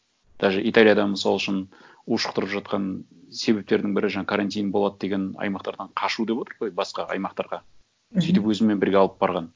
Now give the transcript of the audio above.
даже италиядан мысалы үшін ушықтырып жатқан себептердің бірі жаңа карантин болады деген аймақтардан қашу деп отыр ғой басқа аймақтарға мхм сөйтіп өзімен бірге алып барған